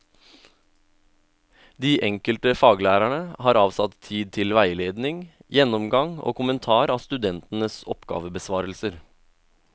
De enkelte faglærerne har avsatt tid til veiledning, gjennomgang og kommentar av studentenes oppgavebesvarelser.